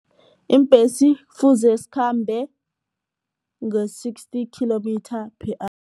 Iimbhesi kufuze zikhambe nge-sixty kilometre per